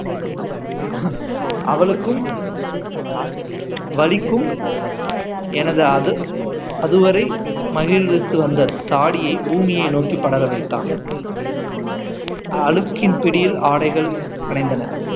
அவளுக்கும் வலிக்கும் எனது அது அதுவரை மகிழ்வித்து வந்த தாடியை பூமியை நோக்கி படற வைத்தான் அடுக்கின் பிடியில் ஆடைகள் கலைந்தனர்